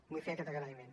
vull fer aquest agraïment